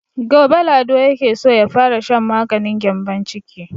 Gobe Lado yake so ya fara shan maganin gyambon ciki.